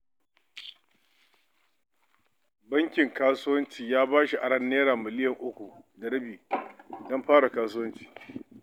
Bankin Kasuwanci ya ba shi rancen Naira milyan uku da rabi don fara kasuwanci.